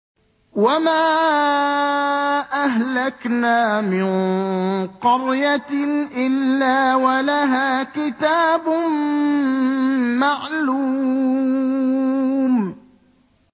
وَمَا أَهْلَكْنَا مِن قَرْيَةٍ إِلَّا وَلَهَا كِتَابٌ مَّعْلُومٌ